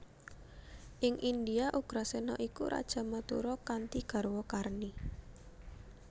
Ing India Ugrasena iku raja Mathura kanthi garwa Karni